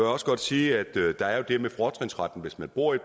også godt sige at der jo er det med fortrinsretten hvis man bor i